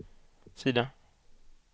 sida